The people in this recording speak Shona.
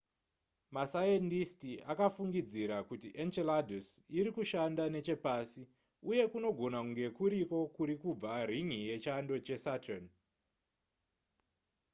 masayendisiti akafungidzira kuti enceladus iri kushanda nechepasi uye kunogona kunge kuriko kuri kubva rin'i yechando chesaturn